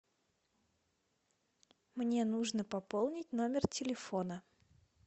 мне нужно пополнить номер телефона